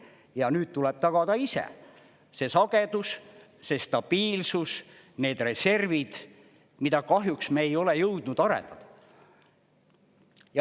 Ja nüüd tuleb tagada ise see sagedus, see stabiilsus, need reservid, mida kahjuks me ei ole jõudnud arendada.